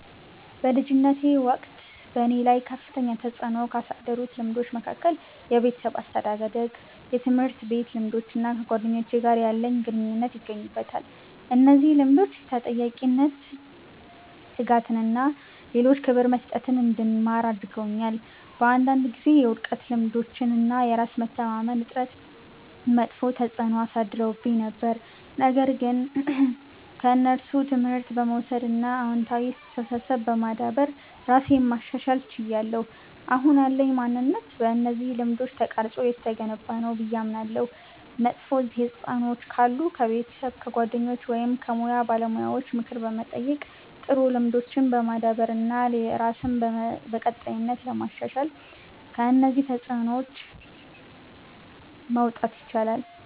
በልጅነቴ ወቅት በእኔ ላይ ከፍተኛ ተጽዕኖ ካሳደሩት ልምዶች መካከል የቤተሰብ አስተዳደግ፣ የትምህርት ቤት ልምዶች እና ከጓደኞቼ ጋር ያለኝ ግንኙነት ይገኙበታል። እነዚህ ልምዶች ተጠያቂነትን፣ ትጋትን እና ለሌሎች ክብር መስጠትን እንድማር አድርገውኛል። በአንዳንድ ጊዜ የውድቀት ልምዶች እና የራስ መተማመን እጥረት መጥፎ ተጽዕኖ አሳድረውብኝ ነበር፣ ነገር ግን ከእነሱ ትምህርት በመውሰድ እና አዎንታዊ አስተሳሰብ በማዳበር ራሴን ማሻሻል ችያለሁ። አሁን ያለኝ ማንነት በእነዚህ ልምዶች ተቀርጾ የተገነባ ነው ብዬ አምናለሁ። መጥፎ ተጽዕኖዎች ካሉ ከቤተሰብ፣ ከጓደኞች ወይም ከሙያ ባለሙያዎች ምክር በመጠየቅ፣ ጥሩ ልምዶችን በማዳበር እና ራስን በቀጣይነት በማሻሻል ከእነዚህ ተጽዕኖዎች መውጣት ይቻላል።